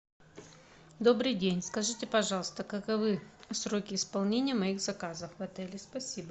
добрый день скажите пожалуйста каковы сроки исполнения моих заказов в отеле спасибо